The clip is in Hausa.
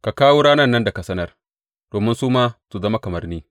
Ka kawo ranan nan da ka sanar domin su ma su zama kamar ni.